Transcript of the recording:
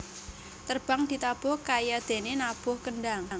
Terbang ditabuh kayadéné nabuh kendhang